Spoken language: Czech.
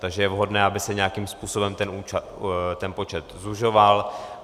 Takže je vhodné, aby se nějakým způsobem ten počet zužoval.